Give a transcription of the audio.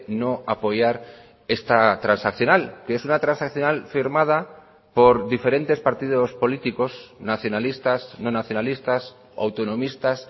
no apoyar esta transaccional que es una transaccional firmada por diferentes partidos políticos nacionalistas no nacionalistas autonomistas